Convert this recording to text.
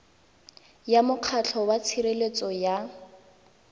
ya mokgatlho wa tshireletso ya